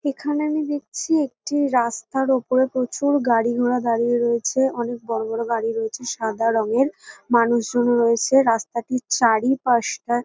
এখানে আমি দেখছি একটি রাস্তার উপরে প্রচুর গাড়ি-ঘোড়া দাঁড়িয়ে রয়েছে অনেক বড় বড় গাড়িও রয়েছে সাদা রঙের মানুষজনও রয়েছে রাস্তাটির চারিপাশটা --